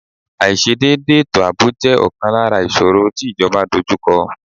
Aiṣedẹde ètò àbò jẹ ọ̀kan lára ìṣòro tí ìjọba dojú kọ